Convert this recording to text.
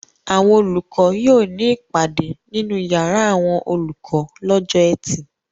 Àwọn olùkọ́ yóò ní ìpàdé nínú ìyàrá àwọn olùkọ́ lọ́jọ́ ẹtì.